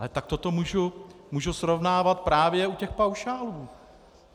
Ale takto to můžu srovnávat právě u těch paušálů.